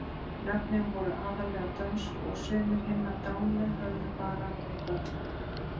Nöfnin voru aðallega dönsk og sumir hinna dánu höfðu bara verið börn.